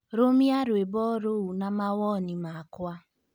Rũmia rwĩmbo rũu na mawoni makwa